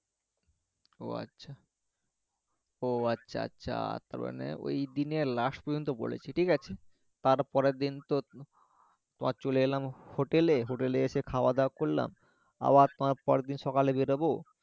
ও আচ্ছা ও আচ্ছা আচ্ছা তার মানে ঐদিনে লাস্ট পর্যন্ত বলেছি ঠিক আছে? তার পরের দিন তো তোমার চলে এলাম হোটেলে হোটেলে এসে খাওয়া-দাওয়া করলাম আবার প পরের দিন বের হবো